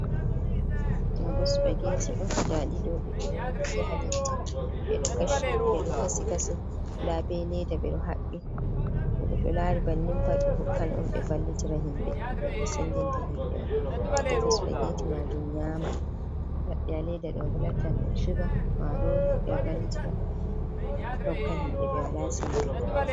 Ɗo bo supagetti on daɗi ɗo, ɗi ɗo rufi haleddi ɓe ɗo kashi kasi nda be leeda ɓeɗo haɓɓi to goɗɗo laari bannin pat ɓe hokkan on ɓe vallitira himɓe, jei ɓe sendinta himbe on ɓe defata supagetti majum nyama, maɓɓi haa ledda ɗo lattan ɗum shuga, marori, ɓe vallitira hokka himɓe ɓe wala seembe.